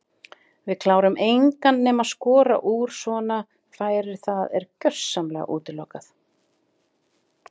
Við klárum engan nema skora úr svona færum það er gjörsamlega útilokað.